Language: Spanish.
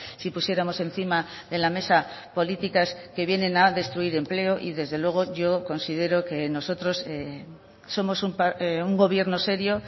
si pusiéramos encima de la mesa políticas que vienen a destruir empleo y desde luego yo considero que nosotros somos un gobierno serio